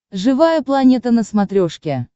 живая планета на смотрешке